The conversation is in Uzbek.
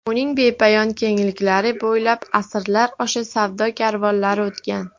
Uning bepoyon kengliklari bo‘ylab asrlar osha savdo karvonlari o‘tgan.